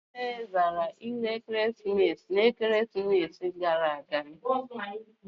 Anyị niile zara ilu ekeresimesi ikpeazụ.